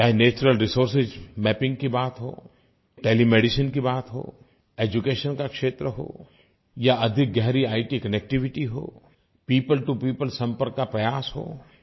चाहे natural resource mapping करने की बात हो टेलीमेडिसिन की बात हो एड्यूकेशन का क्षेत्र हो या इत कनेक्टिविटी हो पियोपल टो पियोपल संपर्क का प्रयास हो